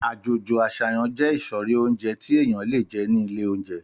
Àjójõ asáyan jé ìsõrí ounjé tí èyan lé jé ni ìlé ounjé